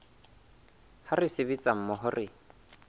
ha re sebetsa mmoho re